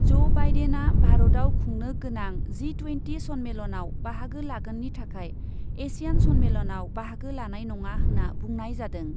ज' बाइडेनआ भारतआव खुंनो गोनां जि टुयेन्टि सन्मेलनाव बाहागो लागोननि थाखाय एसियान सन्मेलनाव बाहागो लानाय नङा होन्ना बुंनाय जादों।